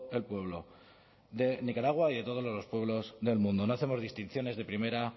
el pueblo de nicaragua y de todos los pueblos del mundo no hacemos distinciones de primera